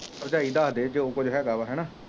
ਭਰਜਾਈ ਦਸਦੇ ਜੋ ਕੁਝ ਹੇਗਾ ਵ ਹੈਨਾ